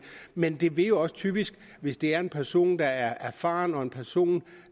men det vil jo også typisk hvis det er en person der er erfaren og en person